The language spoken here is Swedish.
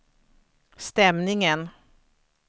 stämningen